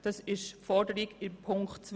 Dies ist die Forderung von Ziffer 2.